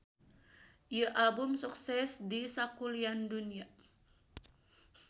Ieu album sukses di sakulian dunya.